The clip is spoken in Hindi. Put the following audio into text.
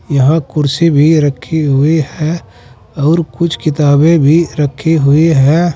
यहां कुर्सी भी रखी हुई है और कुछ किताबें भी रखी हुई हैं।